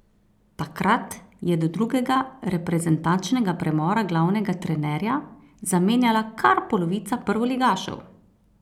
Takrat je do drugega reprezentančnega premora glavnega trenerja zamenjala kar polovica prvoligašev!